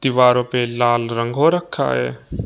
दीवारों पे लाल रंग हो रखा है।